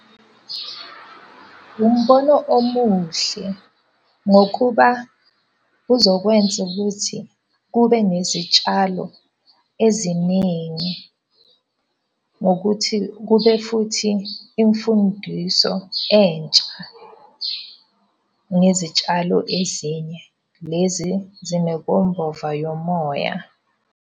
Umbono omuhle, ngokuba uzokwenza ukuthi kube nezitshalo eziningi. Ngokuthi kube futhi imfundiso entsha ngezitshalo ezinye. Lezi yomoya.